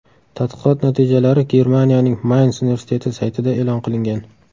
Tadqiqot natijalari Germaniyaning Mayns universiteti saytida e’lon qilingan .